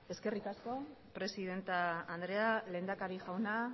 eskerrik asko presidente andrea lehendakari jauna